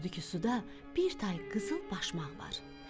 Gördü ki, suda bir tay qızıl başmaq var.